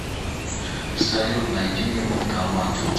салют найди мне банкомат